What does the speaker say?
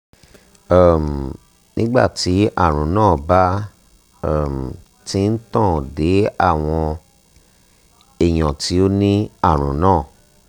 um nígbà tí àrùn náà bá um ti ń tàn dé àwọn èèyàn tó ní àrùn náà